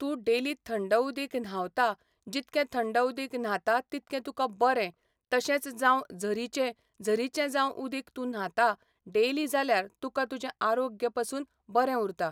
तूं डेली थंड उदीक न्हावतां जितके थंड उदीक न्हातां तितके तुका बरें तशेंच जांव झरीचे झरीचे जाव उदीक तूं न्हातां डेली जाल्यार तुका तुजे आरोग्य पासून बरे उरतां.